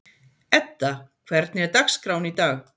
Edda, hvernig er dagskráin í dag?